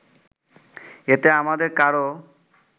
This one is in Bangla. এতে আমাদের কারও